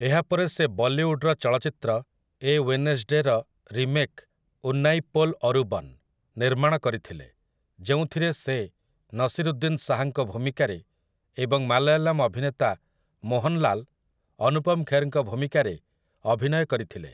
ଏହାପରେ ସେ ବଲିଉଡ଼ର ଚଳଚ୍ଚିତ୍ର 'ଏ ୱେନେସ୍‌ଡେ'ର ରିମେକ୍ 'ଉନ୍ନାଇପୋଲ୍ ଅରୁବନ୍' ନିର୍ମାଣ କରିଥିଲେ ଯେଉଁଥିରେ ସେ ନସିରୁଦ୍ଦିନ୍ ଶାହଙ୍କ ଭୂମିକାରେ ଏବଂ ମାଲୟାଲମ୍ ଅଭିନେତା ମୋହନ୍‌ଲାଲ୍ ଅନୁପମ୍ ଖେର୍‌ଙ୍କ ଭୂମିକାରେ ଅଭିନୟ କରିଥିଲେ ।